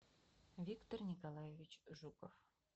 виктор николаевич жуков